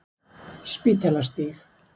Spítalastíg